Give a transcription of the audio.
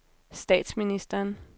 statsministeren